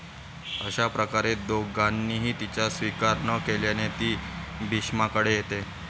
अश्याप्रकारे दोघांनीही तिचा स्वीकार न केल्याने ती भीष्माकडे येते.